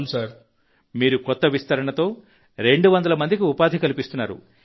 ప్రధాన మంత్రి గారు మీరు కొత్త విస్తరణలతో 200 మందికి ఉపాధి కల్పిస్తున్నారు